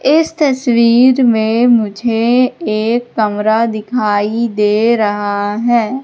इस तस्वीर में मुझे एक कमरा दिखाई दे रहा है।